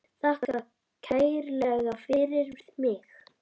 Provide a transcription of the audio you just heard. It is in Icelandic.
Þakka kærlega fyrir mig.